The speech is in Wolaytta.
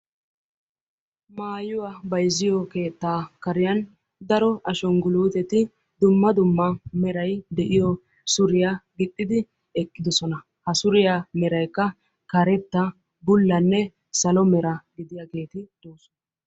Maayuwaa bayzziyo keettaa kariyan daro ashangguluuteti dumma dumma meray d'iyo suriyaa gixxidi eqqidosona. ha suriyaa meraykka karetta bullanne salo mera gidiyaageeti doosona.